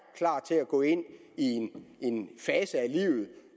klar til at gå ind i en fase af livet